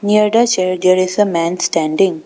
Near the chair there is a man standing.